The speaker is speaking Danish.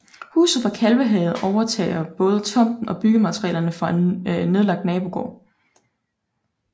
Huset fra Kalvehave overtager både tomten og byggematerialer fra en nedlagt nabogård